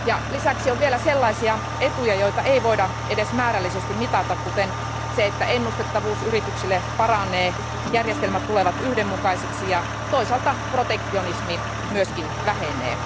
Lisäksi on vielä sellaisia etuja, joita ei voida edes määrällisesti mitata, kuten se, että ennustettavuus yrityksille paranee, järjestelmät tulevat yhdenmukaisiksi ja toisaalta protektionismi myös vähenee.